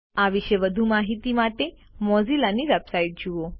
આ વિશે વધુ માહિતી માટે મોઝીલાની વેબસાઇટ જુઓ